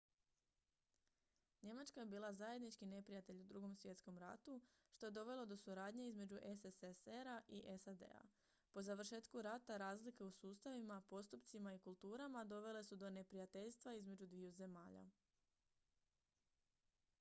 njemačka je bila zajednički neprijatelj u drugom svjetskom ratu što je dovelo do suradnje između sssr-a i sad-a po završetku rata razlike u sustavima postupcima i kulturama dovele su do neprijateljstva između dviju zemlja